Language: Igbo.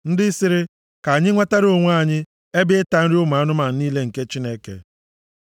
ndị sịrị, “Ka anyị nwetara onwe anyị, ebe ịta nri ụmụ anụmanụ niile nke Chineke.”